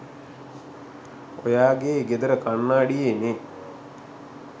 ඔයා ගේ ගෙදර කණ්ණාඩියේ නේ